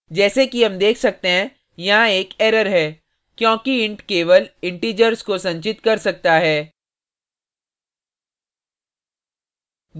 जैसे कि हम देख सकते हैं यहाँ एक error है क्योंकि int केवल integers को संचित कर सकता है